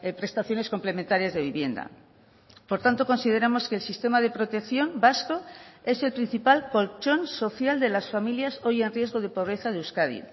prestaciones complementarias de vivienda por tanto consideramos que el sistema de protección vasco es el principal colchón social de las familias hoy en riesgo de pobreza de euskadi